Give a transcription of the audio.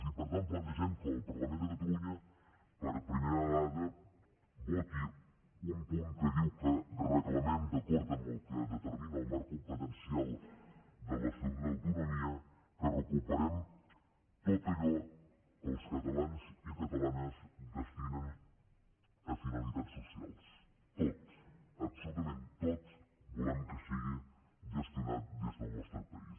i per tant plantegem que el parlament de catalunya per primera vegada voti un punt que diu que recla·mem d’acord amb el que determina el marc compe·tència de l’estatut d’autonomia que recuperem tot allò que els catalans i catalanes destinen a finalitats socials tot absolutament tot volem que sigui gestionat des del nostre país